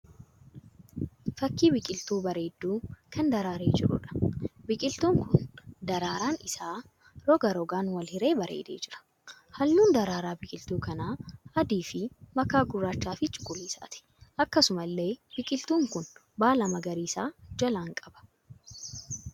Fakkii biqiltuu bareedduu kan daraaree jiruudha. Biqiltuun kun daraaraan isaa roga rogaan wal hiree bareedee jira. Halluun daraaraa biqiltuu kanaa adii fi makaa gurraachaa fi cuquliisaati. Akkasumallee biqiltuun kun baala magariisa jalaan qaba.